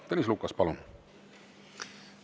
Tõnis Lukas, palun!